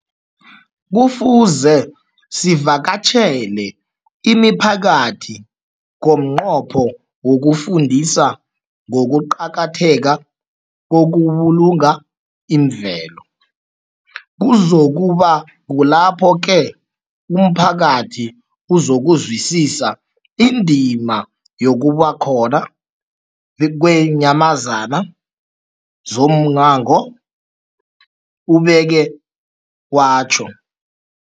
Kufuze sivakatjhele imiphakathi ngomnqopho wokuyifundisa ngokuqakatheka kokubulunga imvelo. Kuzoku ba kulapho-ke umphakathi uzokuzwisisa indima yobukhona beenyamazana zommango, ubeke watjho.